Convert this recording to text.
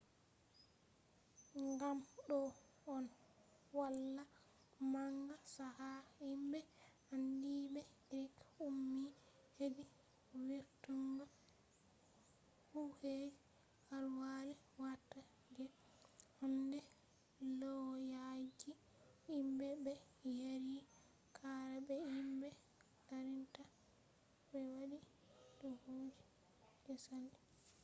gam do on hala manga chaka himbe andiibe greek ummi hedi vurtungo kujeji alkali watta je handai lauyaji himbe be yari qara be himbe darinta be wadi duubiji je sali